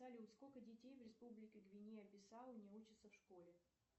салют сколько детей в республике гвинея бисау не учатся в школе